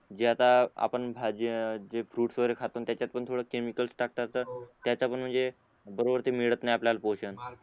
जे आता आपण भाजी अ जे फ्रुट्स वगैरे खातो त्याच्यात पण थोडं केमिकल टाकतात त्यात आपण म्हणजे बरोबर ते मिळत नई पोषण